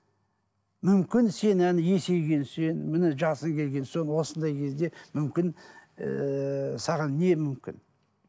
мүмкін сен ана есейгенше міне жасың келген соң осындай кезде мүмкін ыыы саған не мүмкін